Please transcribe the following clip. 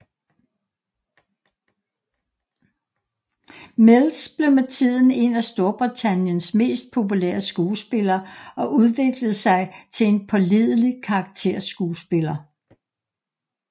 Mills blev med tiden en af Storbritanniens mest populære skuespillere og udviklede sig til en pålidelig karakterskuespiller